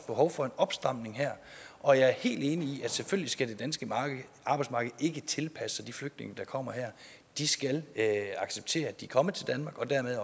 behov for en opstramning her og jeg er helt enig i at selvfølgelig skal det danske arbejdsmarked ikke tilpasse sig de flygtninge der kommer her de skal acceptere at de er kommet til danmark og dermed